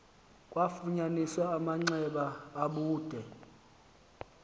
kwafunyaniswa amanxeba abude